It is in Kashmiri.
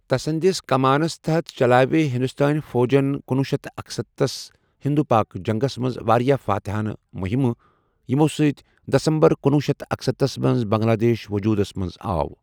تس سٕنٛدس كمانس تحت، چلاوِ ہِنٛدوستٲنۍ فوجن کنوُہ شیتھ تہٕ اکسَتتس ہِنٛدوپاک جنٛگس منٛز واریاہ فاتِحانہٕ مُحِمہٕ، یِمو سۭتۍ دسمبر کنوُہ شیتھ تہٕ اکسَتتھ منٛز بنٛگلہ دیش ووٚجوٗدس منٛز آو۔